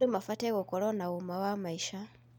Andũ mabatiĩ gũkorwo na ũma wa maica.